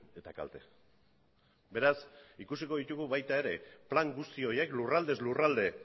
eta kalte beraz ikusiko ditugu baita ere plan guzti horiek lurraldez lurralde